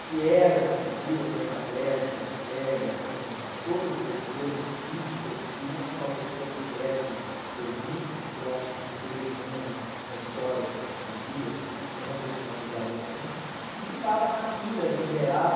que era uma figura tetraplégica, cega, com todas as dores físicas que uma só pessoa pudesse reunir, eu acho que não teve nenhuma na na história de vida, nenhuma personalidade assim, que ficava na fila em Uberaba.